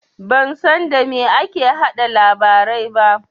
Ban san da me ake yaɗa labarai ba.